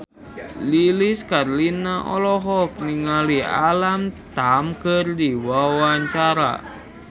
Lilis Karlina olohok ningali Alam Tam keur diwawancara